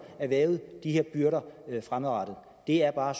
erhvervet de her byrder fremadrettet det er bare